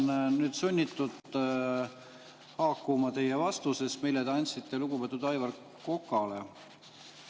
Ma olen sunnitud haakuma teie vastusega, mille te andsite lugupeetud Aivar Kokale.